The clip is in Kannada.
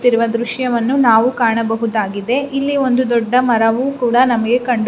ಇರುವ ದೃಶ್ಯವನ್ನು ನಾವು ಕಾಣಬಹುದಾಗಿದೆ ಇಲ್ಲಿ ಒಂದು ದೊಡ್ಡ ಮರವು ಕೂಡ ನಮಗೆಕಂಡು--